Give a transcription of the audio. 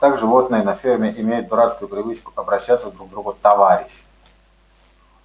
так животные на ферме имеют дурацкую привычку обращаться друг к другу товарищ